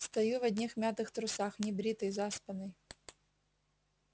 стою в одних мятых трусах небритый заспанный